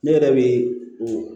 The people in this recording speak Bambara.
Ne yɛrɛ bɛ o